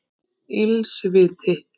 Ills viti